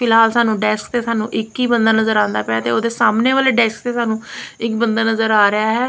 ਫਿਲਹਾਲ ਸਾਨੂੰ ਡੈਸਕ ਤੇ ਸਾਨੂੰ ਇੱਕ ਹੀ ਬੰਦਾ ਨਜ਼ਰ ਆਉਂਦਾ ਪਿਆ ਤੇ ਉਹਦੇ ਸਾਹਮਣੇ ਵਾਲੇ ਡੈਸਕ ਤੇ ਸਾਨੂੰ ਇੱਕ ਬੰਦਾ ਨਜ਼ਰ ਆ ਰਿਹਾ ਹੈ।